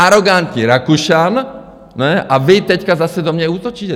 Arogantní Rakušan, a vy teď zase do mě útočíte.